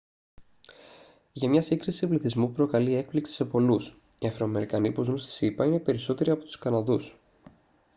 για μια σύγκριση πληθυσμού που προκαλεί έκπληξη σε πολλούς οι αφροαμερικανοί που ζουν στις ηπα είναι περισσότεροι από τους καναδούς